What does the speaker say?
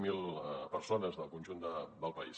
zero persones del conjunt del país